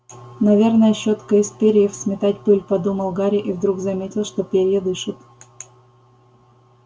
наверное щётка из перьев сметать пыль подумал гарри и вдруг заметил что перья дышат